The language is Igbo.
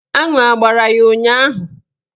Aṅụ agbara ya ụnyaahụ?